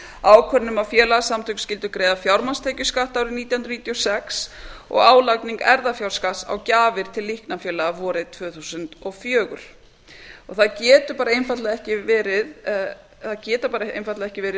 ákvörðun um að félagasamtök skyldu greiða fjármagnstekjuskatt árið nítján hundruð níutíu og sex og álagning erfðafjárskatts á gjafir til líknarfélaga vorið tvö þúsund og fjögur það geta einfaldlega ekki verið